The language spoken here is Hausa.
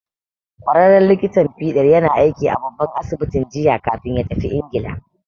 Ƙwararren likitan fiɗar yana aiki a babban asibitin jiya kafin ya tafi Ingila.